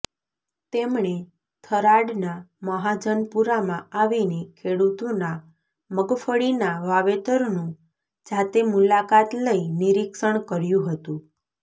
તેમણે થરાદના મહાજનપુરામાં આવીને ખેડુતોના મગફળીના વાવેતરનું જાતે મુલાકાત લઇ નિરીક્ષણ કર્યું હતું